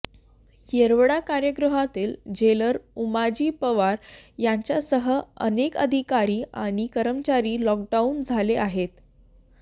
येरवडा कारागृहातील जेलर उमाजी पवार यांच्यासह अनेक अधिकारी आणि कर्मचारी लॉकडाऊन झाले आहेत